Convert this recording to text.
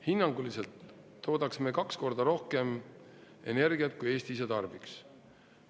Hinnanguliselt toodaksime kaks korda rohkem energiat kui Eesti ise tarbiks.